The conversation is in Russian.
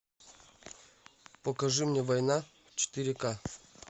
покажи мне война четыре ка